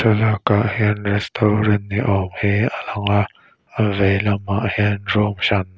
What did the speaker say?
thlalak ah hian restaurant ni awm hi alang a a vei lamah hian room hran--